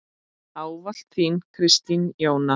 Ávallt þín, Kristín Jóna.